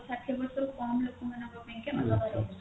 ଷାଠିଏ ବର୍ଷ ରୁ କମ ଲୋକମାନଙ୍କ ପାଇଁକା ଅଲଗା ରହୁଛି